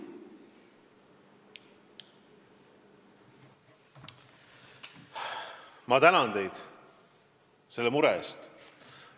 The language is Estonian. Ma tänan teid selle mure eest!